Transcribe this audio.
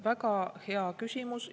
Väga hea küsimus!